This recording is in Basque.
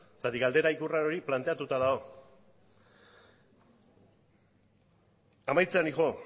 zergatik galdera ikur hori planteatu dago amaitzera noa